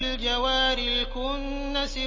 الْجَوَارِ الْكُنَّسِ